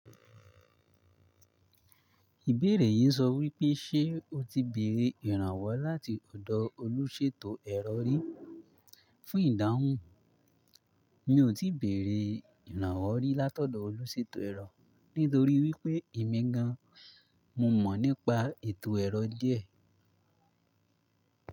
Ìbéèrè yìí sọ wípé ṣe ó ti bèrè ìrànwọ́ láti ọ̀dọ̀ olúṣètò ẹ̀rọ rí. Fún ìdáhùn, mi ò ti bèrè ìrànwọ́ rí látọ̀dọ̀ olúṣètò ẹ̀rọ nítorí wípé èmi gàn an mo mọ̀ nípa ètò ẹ̀rọ díẹ̀.